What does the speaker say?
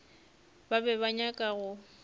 ba be ba nyaka go